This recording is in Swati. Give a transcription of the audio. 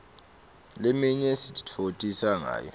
leminye sititfokotisa ngayo